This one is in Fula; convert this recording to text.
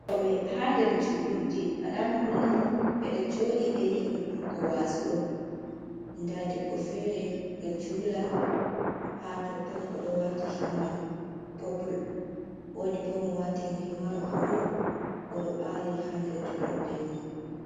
Toɓe haa nder juulurde, "alaama" holli ni ɓe ɗo jooɗi ɓe yehi heɗutugo waaju on. Ndaa debbo fere ɗo julua haa totton o ɗo waati "himar popul" woodi bo mo waati "himar buluu" o ɗo ɓaari haa nder juulurde man.